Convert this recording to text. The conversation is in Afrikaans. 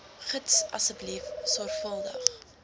gids asseblief sorgvuldig